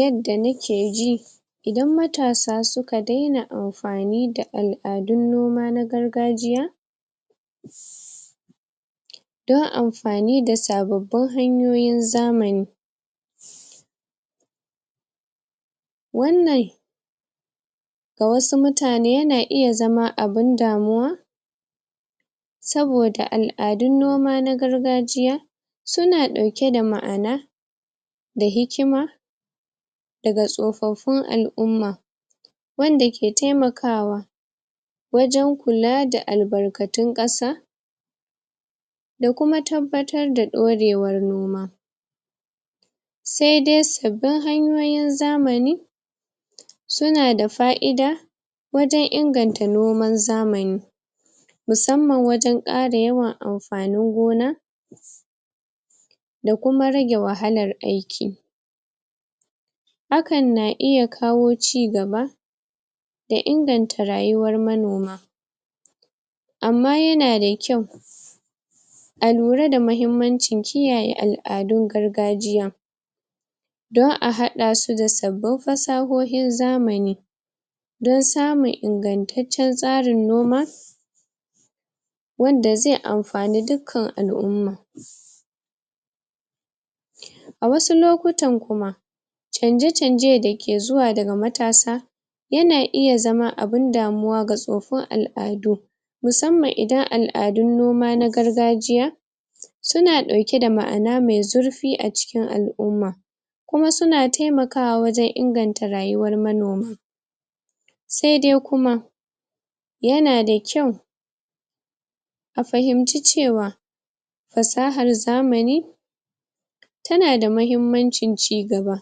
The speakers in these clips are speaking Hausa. Yanda nake ji idan matasa suka daina amfani da al'adun noma na gargajiya don amfani da sababbin hanyoyin zamani wannan ga wasu mutane yana iya zama abun damuwa saboda al'adun noma na gargajiya suna ɗauke da ma'ana da hikima daga tsofaffin al'umma wanda ke taimakawa wajen kula da albarkatun ƙasa da kuma tabbatar da ɗorewan noma sai dai sabbin hanyoyin zamani suna da fa'ida wajen inganta noman zamani musamman wajen ƙara yawan amfanin gona da kuma rage wahalar aiki hakan na iya kawo cigaba da inganta rayuwar manoma amma yana da kyau a lura da mahimmancin kiyaye al'adun gargajiya don a haɗa su da sabbin fasahohin zamani don samun ingantaccen tsarin noma wanda zai amfani dukkan al'umma a wasu lokutan kuma canje-canje dake zuwa daga matasa yana iya zama abin damuwa ga tsoffin al'adu musamman idan al'adun noma na gargajiya suna ɗauke da ma'ana mai zur fi acikin al'umma kuma suna taimakawa wajen inganta rayuwar manoma sai dai kuma yana da kyau a fahimci cewa fasahar zamani tana da mahimmancin cigaba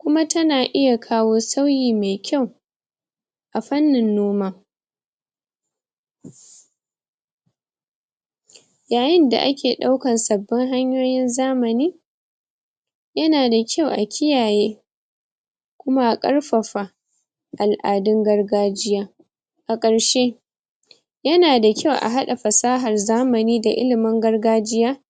kuma tana iya kawo sauyi mai kyau a fannin noma yayin da ake ɗaukan sabbin hanyoyin zamani yana da cau a kiyaye kuma a ƙarfafa al'adun gargajiya a ƙarshe yana da kyau a haɗa fasahar zamani da ilimin gargajiya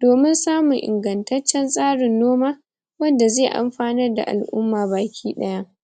domin samun ingantaccen tsarin noma wanda zai amfanar da al'umma baki ɗaya